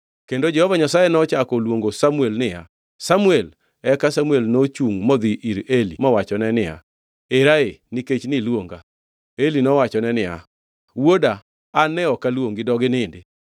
Kendo Jehova Nyasaye nochako oluongo niya, “Samuel!” Eka Samuel nochungʼ modhi ir Eli mowachone niya, “Era ee, nikech ne iluonga.” Eli nowachone niya, “Wuoda, an ne ok aluongi dog inindi.”